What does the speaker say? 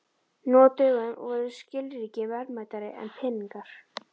Nú á dögum voru skilríki verðmætari en peningar.